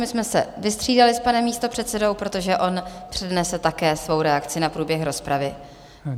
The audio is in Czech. My jsme se vystřídali s panem místopředsedou, protože on přednese také svou reakci na průběh rozpravy.